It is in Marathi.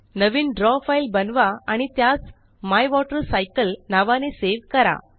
नवीन द्रव फ़ाइल बनवा आणि त्यास मायवॉटरसायकल नावाने सेव करा